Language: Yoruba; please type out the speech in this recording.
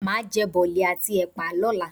Màá jẹ bọ̀lì àti ẹ̀pà lọ́la.